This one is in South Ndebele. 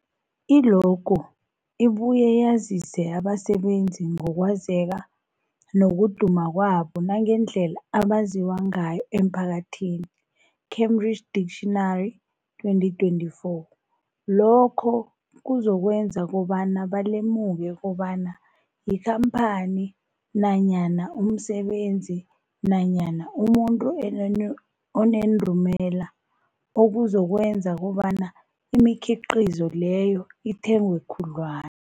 I-logo ibuye yazise abasebenzisi ngokwazeka nokuduma kwabo nangendlela abaziwa ngayo emphakathini, Cambridge Dictionary 2024. Lokho kuzokwenza kobana balemuke kobana yikhamphani nanyana umsebenzi nanyana umuntu enenu onendumela, okuzokwenza kobana imikhiqhizo leyo ithengwe khudlwana.